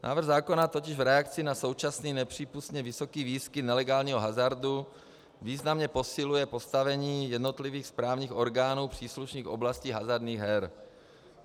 Návrh zákona totiž v reakci na současný nepřípustný vysoký výskyt nelegálního hazardu významně posiluje postavení jednotlivých správních orgánů příslušných oblastí hazardních her.